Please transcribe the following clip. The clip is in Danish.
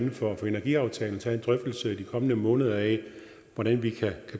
energiaftalen at tage en drøftelse i de kommende måneder af hvordan vi kan